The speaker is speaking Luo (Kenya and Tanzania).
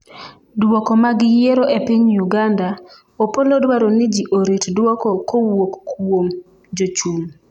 dwoko mag yiero e piny Uganda :Opolo dwaro ni jii orit duoko kowuok kuom jochung'